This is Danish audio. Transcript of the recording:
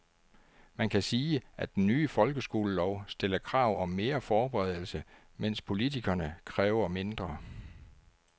Man kan sige, at den nye folkeskolelov stiller krav om mere forberedelse, mens politikerne kræver mindre.